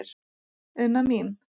Unna mín.